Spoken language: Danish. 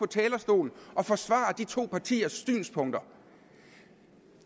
talerstolen og forsvare de to partiers synspunkter